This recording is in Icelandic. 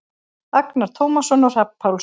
Agnar Tómasson og Hrafn Pálsson.